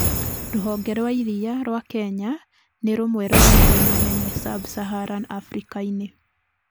Rũhonge rwa iria rwa Kenya nĩrũmwe rwa Maria manene sub- Saharan Afrika-inĩ